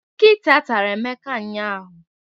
Nkịta tara Emeka ụnyahụ